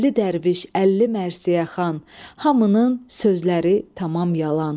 Əlli dərviş, əlli mərsiyəxan, hamının sözləri tamam yalan.